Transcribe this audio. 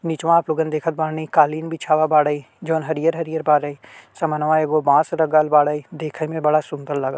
निचवा आपलोग देखत बाड़े कालिम बिछाया बाड़े जॉन हरियर हरियर बाड़े समन्वा एगो बास लगल बाड़े देखे में बड़ा सुंदर लागटी --